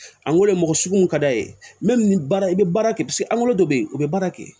An ko de mɔgɔ suguw ka d'a ye baara i bɛ baara kɛ paseke an ko dɔ bɛ ye o bɛ baara kɛ yen